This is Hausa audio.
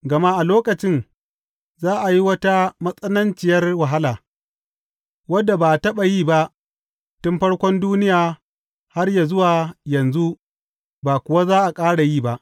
Gama a lokacin za a yi wata matsananciyar wahala, wadda ba a taɓa yi ba tun farkon duniya har ya zuwa yanzu ba kuwa za a ƙara yi ba.